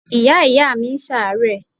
Ìyá ìyáàmi ń ṣàárẹ̀.